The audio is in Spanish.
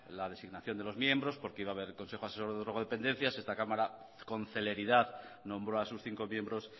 la designación de los miembros porque iba a haber el consejo asesor de drogodependencias esta cámara con celeridad nombró a sus cinco miembros